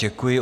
Děkuji.